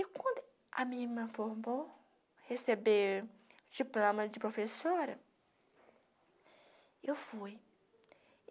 E quando a minha irmã formou, receber diploma de professora, eu fui.